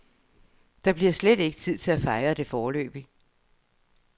Der bliver slet ikke tid til at fejre det foreløbig.